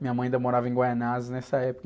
Minha mãe ainda morava em Guaianazes nessa época.